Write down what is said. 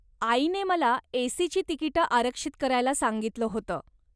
आईने मला एसीची तिकिटं आरक्षित करायला सांगितलं होतं.